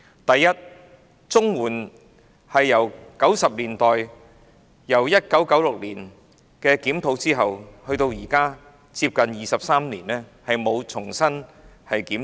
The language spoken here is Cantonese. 第一，綜援自1990年代推行以來，即由1996年至今近23年亦沒有重新檢討。